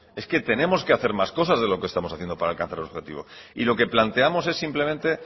es que tenemos que hacer más cosas de lo que estamos haciendo para alcanzar ese objetivo y lo que planteamos es simplemente